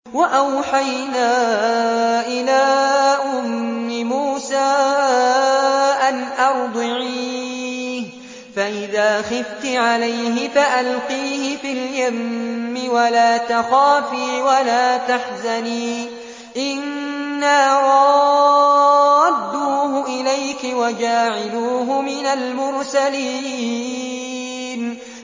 وَأَوْحَيْنَا إِلَىٰ أُمِّ مُوسَىٰ أَنْ أَرْضِعِيهِ ۖ فَإِذَا خِفْتِ عَلَيْهِ فَأَلْقِيهِ فِي الْيَمِّ وَلَا تَخَافِي وَلَا تَحْزَنِي ۖ إِنَّا رَادُّوهُ إِلَيْكِ وَجَاعِلُوهُ مِنَ الْمُرْسَلِينَ